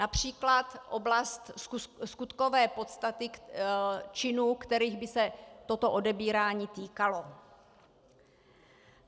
Například oblast skutkové podstaty činů, kterých by se toto odebírání týkalo.